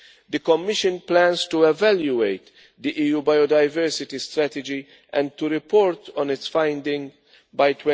The Commission plans to evaluate the EU Biodiversity Strategy and to report on its finding by